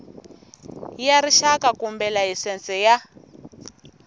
ya rixaka kumbe layisense ya